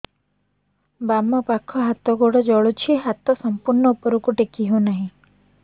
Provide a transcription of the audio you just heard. ବାମପାଖ ହାତ ଗୋଡ଼ ଜଳୁଛି ହାତ ସଂପୂର୍ଣ୍ଣ ଉପରକୁ ଟେକି ହେଉନାହିଁ